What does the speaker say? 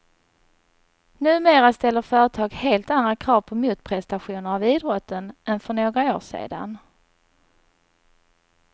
Numera ställer företag helt andra krav på motprestationer av idrotten än för några år sedan.